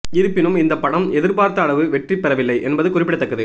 இருப்பினும் இந்த படம் எதிர்பார்த்த அளவு வெற்றி பெறவில்லை என்பது குறிப்பிடத்தக்கது